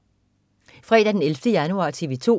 Fredag den 11. januar - TV 2: